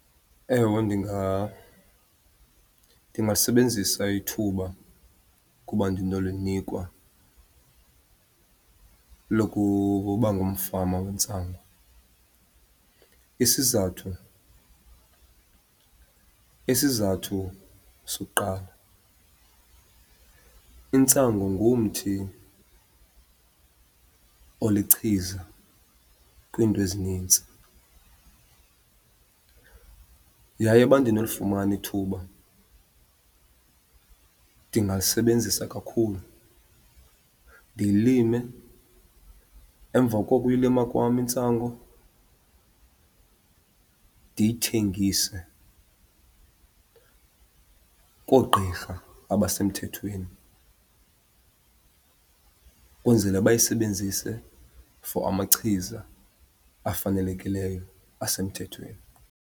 Ewe ndingasebenzisa ithuba ukuba ndinolinikwa ukuba ngumfama wentsangu. Isizathu, isizathu sokuqala, intsangu ngumthi olichiza kwiinto ezinintsi yaye uba ndinolifumana ithuba ndingalisebenzisa kakhulu. Ndiyilime, emva kokuyilima kwam intsangu ndiyithengise koogqirha abasemthethweni, kwenzele bayisebenzise for amachiza afanelekileyo asemthethweni.